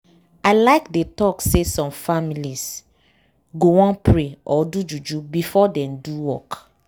i like dey talk say some families go wan pray or do juju before dem do work.